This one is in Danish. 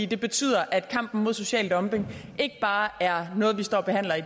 det betyder at kampen mod social dumping ikke bare er noget vi står og behandler i